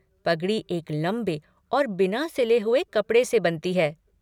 पगड़ी एक लंबे और बिना सिले हुए कपड़े से बनती है।